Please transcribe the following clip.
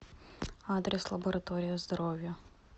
адрес лаборатория здоровья